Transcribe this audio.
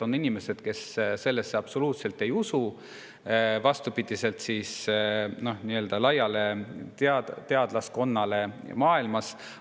On inimesi, kes sellesse absoluutselt ei usu, vastupidi nii-öelda laiale teadlaskonnale maailmas.